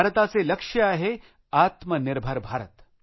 भारताचे लक्ष्य आहेआत्मनिर्भर भारत